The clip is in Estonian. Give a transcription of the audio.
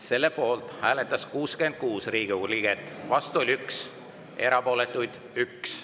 Selle poolt hääletas 66 Riigikogu liiget, vastu oli 1, erapooletuid 1.